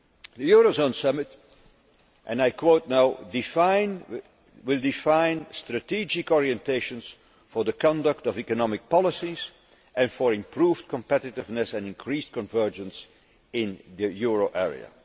The Eurozone Summit and I quote will define strategic orientations for the conduct of economic policies and for improved competitiveness and increased convergence in the euro area'.